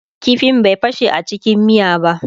ƙifin bai fashe a cikin miya ba